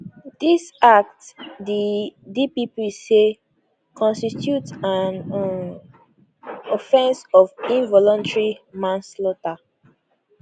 dis act di dpp say constitute an um offense of involuntary manslaughter